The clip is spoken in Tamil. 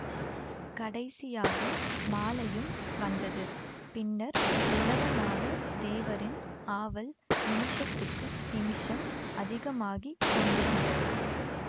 கடைசியாக மாலையும் வந்தது பின்னர் உலகநாதத் தேவரின் ஆவல் நிமிஷத்துக்கு நிமிஷம் அதிகமாகி கொண்டிருந்தது